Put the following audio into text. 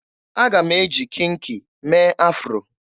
Aga m eji kinki mee afro.